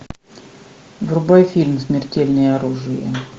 врубай фильм смертельное оружие